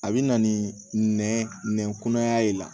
A bɛ na ni nɛn kunaya ye